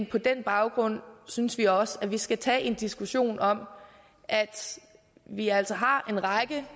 på den baggrund synes vi også at vi skal tage en diskussion om at vi altså har en række